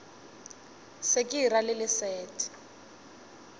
se ke ra le leset